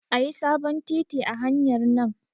Ayi sabon titi a hanyar nan